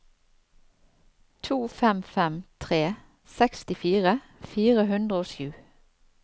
to fem fem tre sekstifire fire hundre og sju